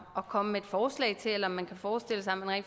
at komme med et forslag til eller om man kan forestille sig